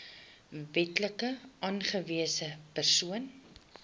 wetlik aangewese persoon